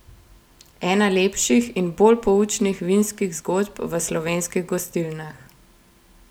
Ena lepših in bolj poučnih vinskih zgodb v slovenskih gostilnah!